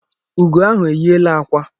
Ugo ahụ enyiela ákwá